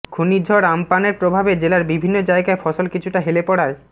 ঘূর্ণিঝড় আম্পানের প্রভাবে জেলার বিভিন্ন জায়গায় ফসল কিছুটা হেলে পড়ায়